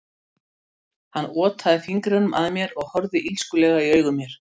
Hann otaði fingrinum að mér og horfði illskulega í augu mér.